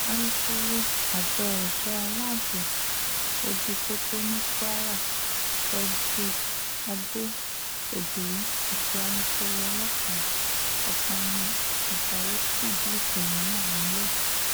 alūkkóró àjọ èso aláàbọ̀ ojú pópó ní kwara frederick ade ogiri àti alūkkóró ọlọ́pàá ọ̀kánmi ajayi fìdí ìṣẹ̀lẹ̀ náà múlẹ̀